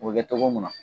O bɛ kɛ togo mun na